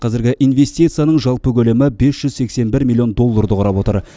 қазіргі инвестицияның жалпы көлемі бес жүз сексен бір миллион долларды құрап отыр